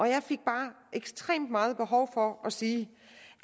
jeg fik bare ekstremt meget behov for at sige